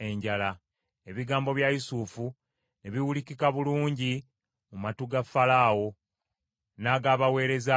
Ebigambo bya Yusufu ne biwulikika bulungi mu matu ga Falaawo n’ag’abaweereza be bonna.